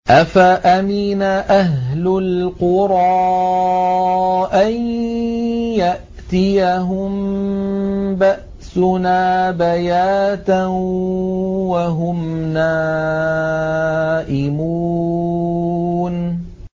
أَفَأَمِنَ أَهْلُ الْقُرَىٰ أَن يَأْتِيَهُم بَأْسُنَا بَيَاتًا وَهُمْ نَائِمُونَ